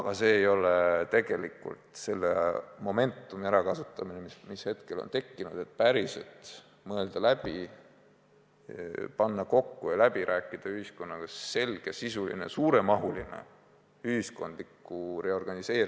Aga see ei ole tegelikult selle praegu tekkinud momentum'i ärakasutamine, et päriselt mõelda, panna kokku ja ühiskonnaga läbi rääkida selgesisuline suuremahuline ühiskondliku reorganiseerimise või regionaalse majanduse ümberkujundamise projekt, mis kestab 5–10 aastat ja mille osa kahtlemata, ehkki peaminister püüdis seda naeruvääristada, on selge tärmin, millal, mis aastast peale põlevkivi maa alla jääb.